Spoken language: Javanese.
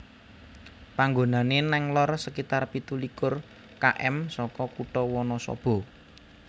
Panggonane nang lor sekitar pitu likur km saka kutha Wanasaba